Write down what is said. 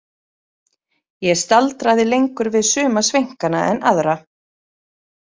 Ég staldraði lengur við suma sveinkana en aðra.